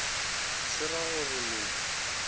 se ra go re le